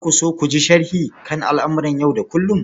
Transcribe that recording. Za ku so ku ji sharhi kan al'amuran yau da kullum?